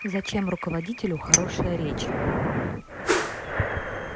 зачем руководителю хорошая речь